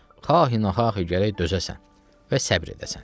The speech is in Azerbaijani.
Xahinə-xahi gərək dözəsən və səbr edəsən.